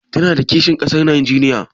Tana da kishin ƙasar Najeriya?